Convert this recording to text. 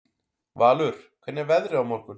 Valur, hvernig er veðrið á morgun?